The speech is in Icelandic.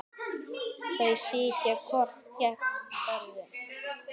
Þau sitja hvort gegnt öðru.